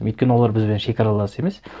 өйткені олар бізбен шегаралас емес